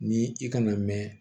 Ni i kana mɛn